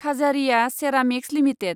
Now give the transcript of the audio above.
Khajaria ceramics limited